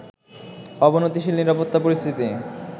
অবনতিশীল নিরাপত্তা পরিস্থিতি